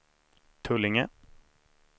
Tullinge